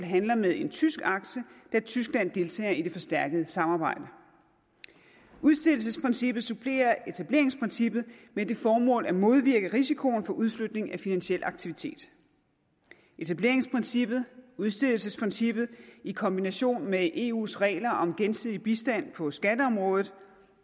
handler med en tysk aktie da tyskland deltager i det forstærkede samarbejde udstedelsesprincippet supplerer etableringsprincippet med det formål at modvirke risikoen for udflytning af finansiel aktivitet etableringsprincippet og udstedelsesprincippet kan i kombination med eus regler om gensidig bistand på skatteområdet